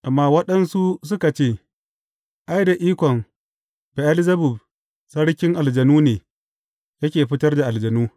Amma waɗansunsu suka ce, Ai, da ikon Be’elzebub, sarkin aljanu ne, yake fitar da aljanu.